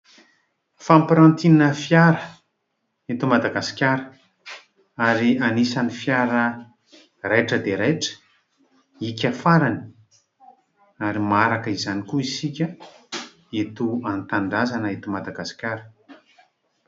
fampirantiana fiara eto Madagasikara ary anisany fiara raitra dia raitra, hiaka farany ary maharaka izany koa isika eto an-tanindrazana eto Madagasikara